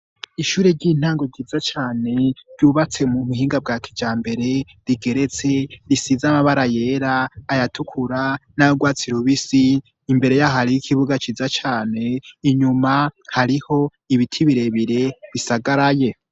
Ishure ry'intango ryiza cane ryubatse mu muhinga bwa kija mbere rigeretse risize amabara yera ayatukura n'arwatsi rubisi imbere ya hariyo ikibuga ciza cane inyuma hariho ibiti birebire bisagaraye.